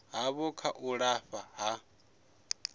havho kha u lafha ha